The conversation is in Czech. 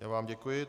Já vám děkuji.